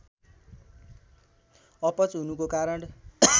अपच हुनुको कारण